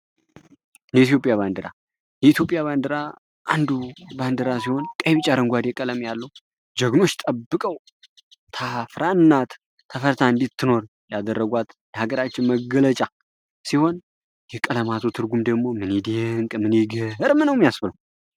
የኢትዮጵያ ባንዲራ የኢትዮጵያ ባንዲራ አንዱ ባንዲራ ሲሆን ቀይ፣ ቢጫ ፣አረንጓዴ ቀለም ያለው ጀግኖች ጠብቀው ታፍራ እና ተፈርታ እንድትኖር ያደረጓት የአገራችን መገለጫ ሲሆን የቀለማቱ ትርጉም ደግሞ ምን ይዴንቅ ምን ይገርም ነው የሚያስብለው።